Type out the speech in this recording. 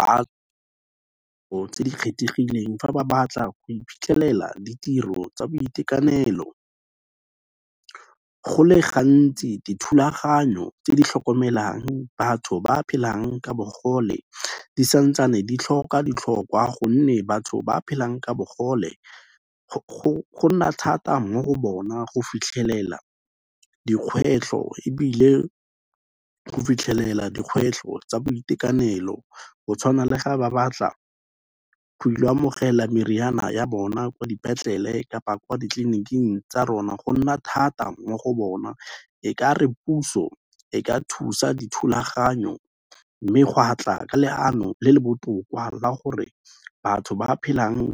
Tse di kgethegileng fa ba batla go iphitlhelela ditiro tsa boitekanelo. Go le gantsi dithulaganyo tse di tlhokomelang batho ba phelang ka bogole di santsane ditlhoka ditlhokwa gonne batho ba phelang ka bogole go nna thata mo go bona go fitlhelela dikgwetlho ebile go fitlhelela dikgwetlho tsa boitekanelo go tshwana le ga ba batla go ilo amogela meriana ya bona kwa dipetlele kapa kwa ditleliniking tsa rona, go nna thata mo go bona e ka re puso e ka thusa dithulaganyo mme gwa tla ka leano le le botoka la gore batho ba phelang